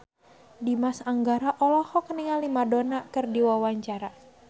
Dimas Anggara olohok ningali Madonna keur diwawancara